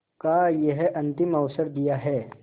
का यह अंतिम अवसर दिया है